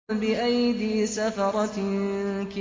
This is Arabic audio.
بِأَيْدِي سَفَرَةٍ